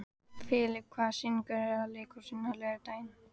Filip, hvaða sýningar eru í leikhúsinu á laugardaginn?